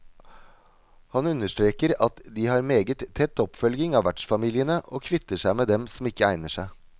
Han understreker at de har meget tett oppfølging av vertsfamiliene, og kvitter seg med dem som ikke egner seg.